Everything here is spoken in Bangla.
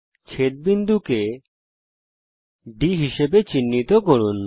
ছেদ বিন্দুকে D হিসাবে চিহ্নিত করুন